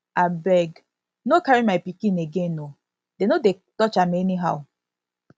abeg no carry my pikin again oo dey no dey touch am anyhow